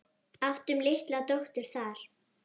Áttum litla dóttur þar.